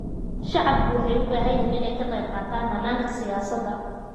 Shacabku waxay u baahan yihiin inay ka qaybqaataan hannaanka siyaasadda.